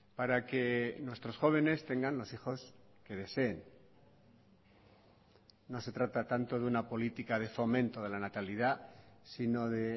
para que nuestros jóvenes tengan los hijos que deseen no se trata tanto de una política de fomento de la natalidad sino de